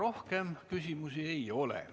Rohkem küsimusi ei ole.